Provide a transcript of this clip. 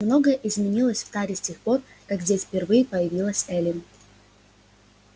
многое изменилось в таре с тех пор как здесь впервые появилась эллин